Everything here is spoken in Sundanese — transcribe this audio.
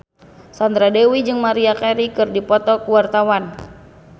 Sandra Dewi jeung Maria Carey keur dipoto ku wartawan